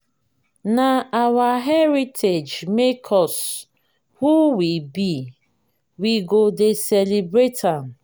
na our heritage make us who we be we go dey celebrate am.